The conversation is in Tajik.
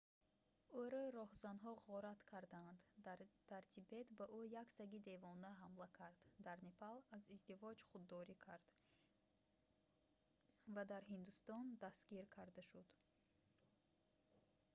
ӯро роҳзанҳо ғорат карданд дар тибет ба ӯ як саги девона ҳамла кард дар непал аз издивоҷ худдорӣ кард ва дар ҳиндустон дастгир карда шуд